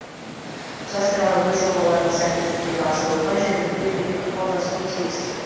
жастарға өз жобаларын сәтті жүзеге асыруға жергілікті билік ықпалдасуы тиіс